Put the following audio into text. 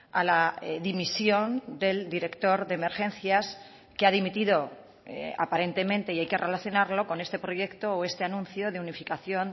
a la dimisión del director de emergencias que ha dimitido aparentemente y hay que relacionarlo con este proyecto o este anuncio de unificación